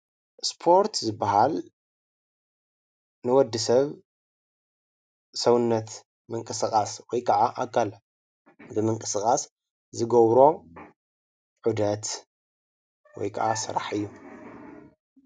ስፖርት ዝብሃል ንወድሰብ ሰውነት ምንቅስቃስ ወይከዓ ኣካል ብምንቅስቃስ ዝገብሮ ዑደት ወይከዓ ስራሕ እዩ፡፡